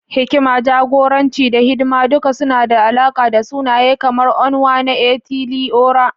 Hikima, jagoranci, da hidima duk suna da alaƙa da sunaye kamar Onwa-na-etili-ora.